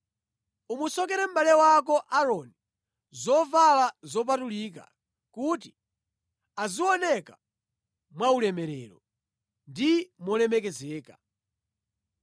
Umusokere mʼbale wako, Aaroni, zovala zopatulika kuti azioneka mwaulemerero ndi molemekezeka.